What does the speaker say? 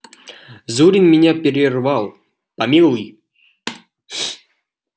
зурин меня перервал помилуй